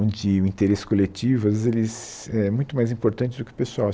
de o interesse coletivo as vezes eles éh muito mais importante do que o pessoal.